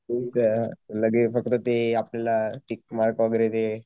तू तते आपल्याला tick mark वैगेरे ते